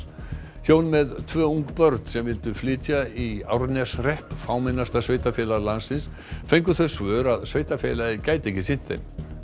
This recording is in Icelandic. hjón með tvö ung börn sem vildu flytja í Árneshrepp fámennasta sveitarfélag landsins fengu þau svör að sveitarfélagið gæti ekki sinnt þeim